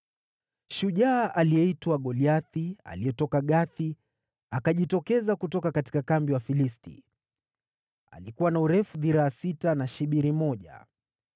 Shujaa aliyeitwa Goliathi, aliyetoka Gathi, akajitokeza kutoka kambi ya Wafilisti. Alikuwa na urefu dhiraa sita na shibiri moja.